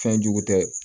Fɛn jugu tɛ